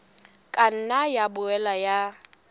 ka nna ya boela ya